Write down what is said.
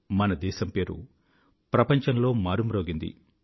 మన దేశం పేరు ప్రపంచంలో మారుమ్రోగింది